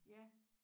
Ja